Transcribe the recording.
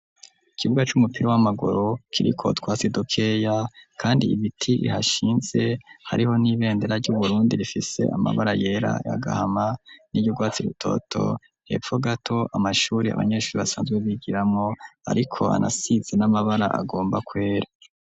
Ikibuga c'umupira w'amaguru kiriko utwatsi dukeya kandi ibiti bihashinze, hariho n'ibendera ry'Uburundi rifise amabara yera, ay'agahama niry'urwatsi rutoto, hepfo gato amashure abanyeshure basanzwe bigiramwo ariko anasize n'amabara agomba kwera.